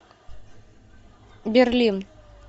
берлин